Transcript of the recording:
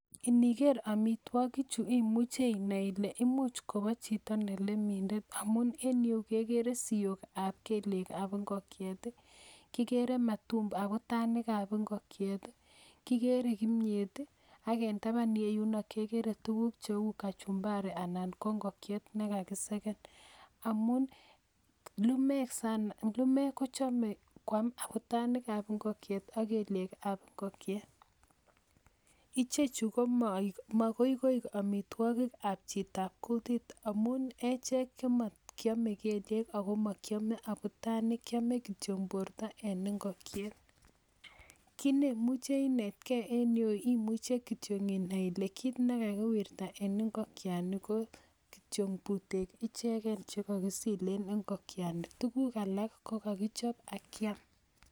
Iniker amitwokik Chu imuche inai ile imuch Kobo Chito ne lenindetamun en yu kegere siok ab keliej abingokyet kikere abutanik ab ingokyet kikere kimyet ii ak en tapan reyuno kekere tukuk cheu kachumbari anan ko ingokyet nekakiseken amun lumek kochome kwam abutanik ab ingokyet ak keliej ab ingokyet ichech komokoikoi omitwokik ab chitab kutit amun echek komokiome keliek anan ko abutanik kiome kityok borto en ingokyet ki nemuche inet gen en yu imuche kityok inai ile kit nekakiwirta en ingokyani ko kityo putek ichegen che kokisilen ingokyani tukuk alak ko kokichop ak Kiam.